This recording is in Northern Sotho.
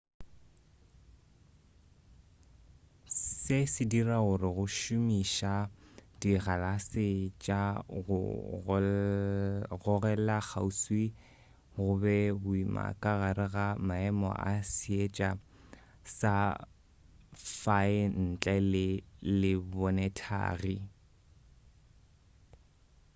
se se dira gore go šomiša dikgalase tša go gogelakgauswi go be boima ka gare ga maemo a seetša sa fae ntle le lebonethagi